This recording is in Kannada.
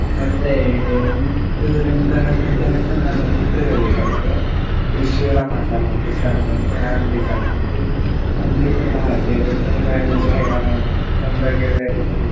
ಮತ್ತೆ ಎಂಟ್ನೂರಿಂದ ಹತ್ತನೇ ತನಕ ನಾನು ಪುತ್ತೂರಲ್ಲಿ ಕಲ್ತೆ. ಇಲ್ಲಿ ಶಿವರಾಮ ಕಾರಂತ ಶಾಲೆ ಅಂತ ಅಲ್ಲಿ ಕಲ್ತದ್ದು. ಅಲ್ಲಿ ಕೂಡ ಹಾಗೆ ತುಂಬಾ enjoy ಗಳೆಲ್ಲ ತುಂಬಾ ಗೆಳೆಯರಿದ್ರು.